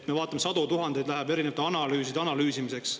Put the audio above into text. Me vaatame, et sadu tuhandeid eurosid läheb erinevate analüüside analüüsimiseks.